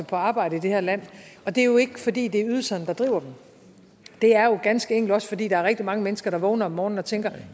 på arbejde i det her land og det er jo ikke fordi det er ydelserne der driver dem det er ganske enkelt også fordi der er rigtig mange mennesker der vågner om morgenen og tænker